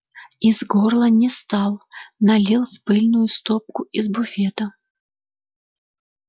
из горла не стал налил в пыльную стопку из буфета